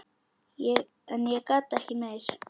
En ég gat ekki meir.